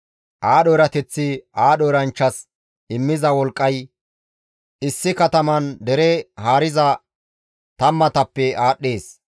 Aadho erateththi aadho eranchchas immiza wolqqay issi kataman dere haariza tammatappe aadhdhees.